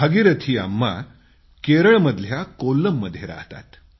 भागीरथी अम्मा केरळमधल्या कोल्लममध्ये वास्तव्य करतात